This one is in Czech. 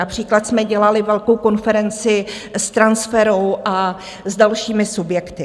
Například jsme dělali velkou konferenci s Transferou a s dalšími subjekty.